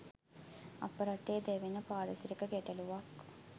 අප රටේ දැවෙන පාරිසරික ගැටලුවක්.